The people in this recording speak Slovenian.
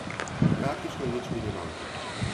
Praktično nič mi ne manjka.